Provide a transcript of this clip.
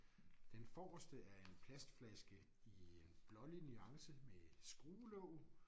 Den forreste er en plastflaske i en blålig nuance med skruelåg